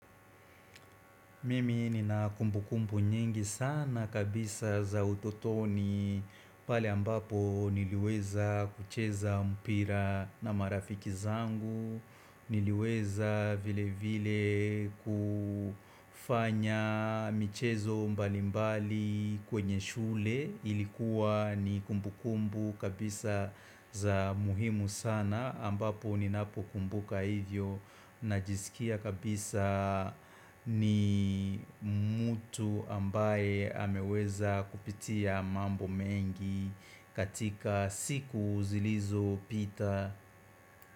Mimi ni na kumbu kumbu nyingi sana kabisa za utotoni pale ambapo niliweza kucheza mpira na marafiki zangu Niliweza vile vile kufanya michezo mbali mbali kwenye shule Ilikuwa ni kumbu kumbu kabisa za muhimu sana ambapo ninapo kumbuka hivyo Najisikia kabisa ni mtu ambaye ameweza kupitia mambo mengi katika siku zilizo pita.